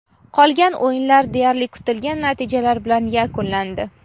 qolgan o‘yinlar deyarli kutilgan natijalar bilan yakunlandi⌛.